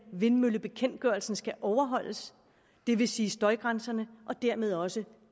vindmøllebekendtgørelsen skal overholdes det vil sige at støjgrænserne og dermed også